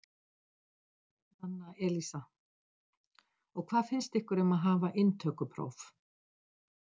Nanna Elísa: Og hvað finnst ykkur um að hafa inntökupróf?